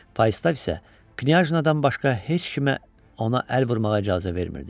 Falstaf isə Knyaznadan başqa heç kimə ona əl vurmağa icazə vermirdi.